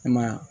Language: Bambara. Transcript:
I ma ye wa